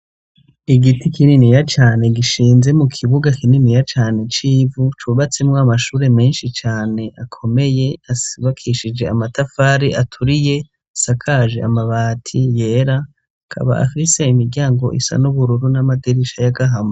Igiti kininiya cane gishinze mu kibuga kininiya cane c'ivu, cubatsemwo amashure menshi cane akomeye ,asibakishije amatafari aturiye asakaje amabati yera ,akaba afise imiryango isa n'ubururu n'amadirisha y'agahama.